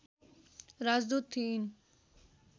राजदूत थिइन्